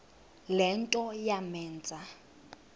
le nto yamenza